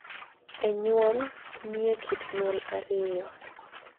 Ee, nyuol, ni e, kit nyuol ariyo,